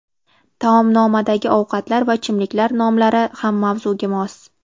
Taomnomadagi ovqatlar va ichimliklar nomlari ham mavzuga mos.